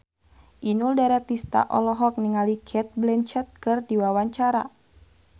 Inul Daratista olohok ningali Cate Blanchett keur diwawancara